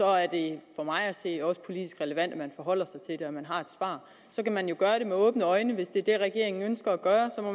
er det for mig at se også politisk relevant at man forholder sig til at man har et svar så kan man jo gøre det med åbne øjne hvis det er det regeringen ønsker at gøre og